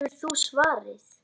Hefur þú svarið?